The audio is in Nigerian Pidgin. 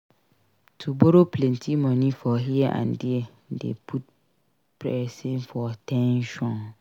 To borrow plenty money for here and there de put persin for ten sion